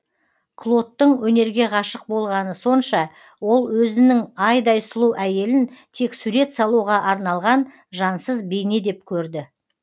клодтың өнерге ғашық болғаны сонша ол өзінің айдай сұлу әйелін тек сурет салуға арналған жансыз бейне деп көрді